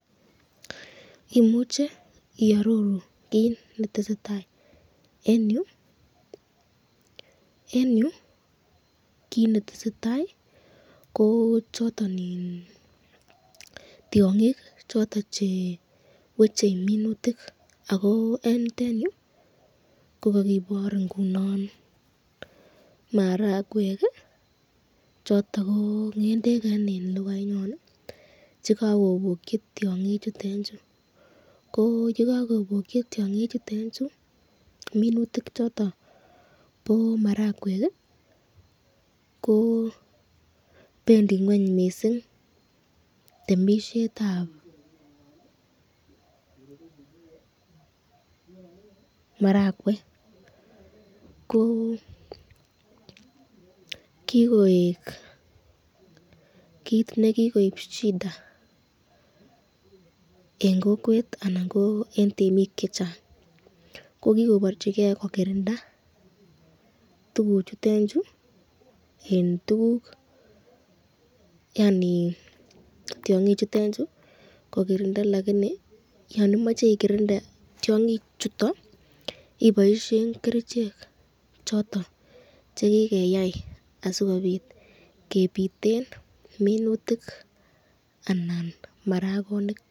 Imuche iaroru kit netesetai eng yu?? eng yu kit netesetai kochoton tyongik choton cheweche minutik ako eng yutenyu ko kakibor ingunon marakwek choton ko ngendek eng ,vhekakobokyi tyongik chutenchu ko yekakobokyi tyongik chutenchu minutik chondon bo marakwek, ko bendi ngweny mising temisyetab marakwek ko kikoek kit nekikoib shida eng kokwet anan ko temik chechang ko kikobarchiken kokirinda tukukchutechu ,yon imache ikirinde tyongik chuton iboishen kerichek choton chekikeyai sikobit kebiten minutik .